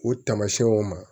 O tamasiyɛnw ma